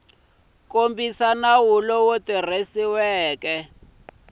kumbe nawu lowu tirhisiwaka wa